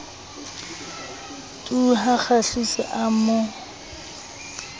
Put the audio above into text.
tu ha kgahliso a mo